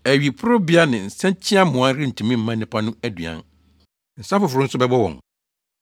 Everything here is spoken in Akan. Awiporowbea ne nsakyiamoa rentumi mma nnipa no aduan; nsa foforo nso bɛbɔ wɔn.